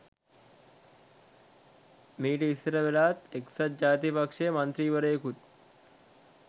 මීට ඉස්සර වෙලාත් එක්සත් ජාතික පක්ෂයේ මන්ත්‍රීවරයෙකුත්